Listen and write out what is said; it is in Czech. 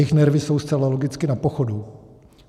Jejich nervy jsou zcela logicky na pochodu.